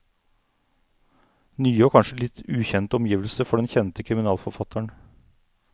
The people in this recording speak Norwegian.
Nye og kanskje litt ukjente omgivelser for den kjente kriminalforfatteren.